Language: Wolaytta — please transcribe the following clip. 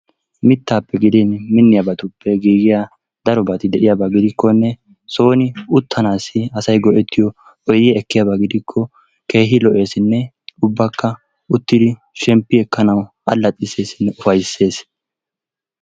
Mittaappe gidin miniyabatuppe giggiya darobati de'iyaba gidikkonne sooni uttanaassi asay go'ettiyo oydiya ekkiyaba gidikkonne ubbaykka uttidi shemppi ekkanawu allaxxisseesinne ufayssees